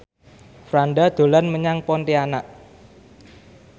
Franda dolan menyang Pontianak